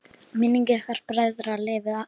Minning ykkar bræðra lifir alltaf!